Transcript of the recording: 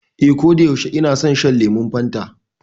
Ee, koda yaushe ina son shan lemon Fanta.